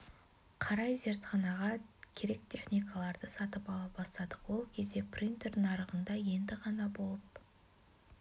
қарай зертханаға керек техникаларды сатып ала бастадық ол кезде принтер нарығында енді ғана пайда болып